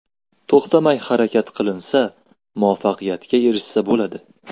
To‘xtamay harakat qilinsa, muvaffaqiyatga erishsa bo‘ladi.